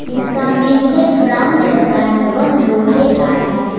इसका main gate brown colour का है वह लोहे का है।